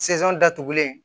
datugulen